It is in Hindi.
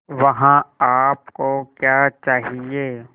वहाँ आप को क्या चाहिए